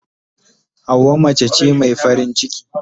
Hauwa mace ce mai farin ciki.